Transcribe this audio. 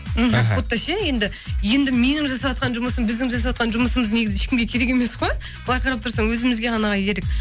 мхм как будто ше енді енді менің жасаватқан жұмысым біздің жасаватқан жұмысымыз негізі ешкімге керек емес қой былай қарап тұрсаң өзімізге ғана керек